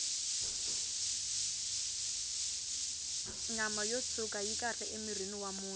nyama yo tshwuka yi kahle emirhini wa munhu